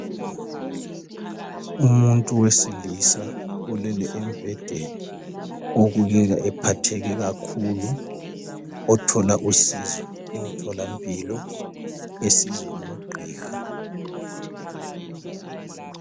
Umuntu wesilisa ulele embhedeni obukeka ephatheke kakhulu othola usizo emtholampilo esizwa ngugqiha.